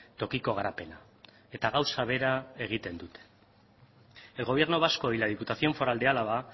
tokiko garapena eta gauza bera egiten dute el gobierno vasco y la diputación foral de álava